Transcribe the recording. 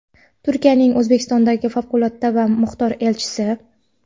Turkiyaning O‘zbekistondagi favqulodda va muxtor elchisi:.